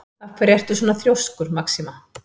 Af hverju ertu svona þrjóskur, Maxima?